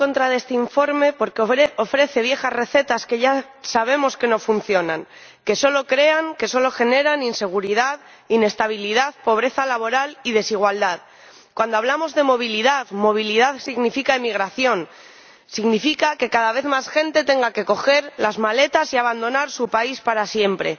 Señor Presidente, he votado en contra de este informe porque ofrece viejas recetas que ya sabemos que no funcionan, que solo generan inseguridad, inestabilidad, pobreza laboral y desigualdad. Cuando hablamos de movilidad, movilidad significa emigración, significa que cada vez más gente tenga que coger las maletas y abandonar su país para siempre.